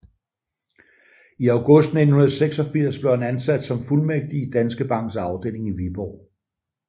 I august 1986 blev han ansat som fuldmægtig i Danske Banks afdeling i Viborg